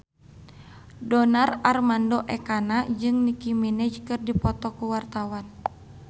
Donar Armando Ekana jeung Nicky Minaj keur dipoto ku wartawan